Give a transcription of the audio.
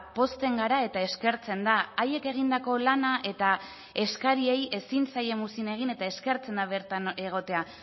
pozten gara eta eskertzen da haiek egindako lana eta eskariei ezin zaie muzin egin eta eskertzen da bertan egotea